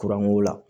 Kuranko la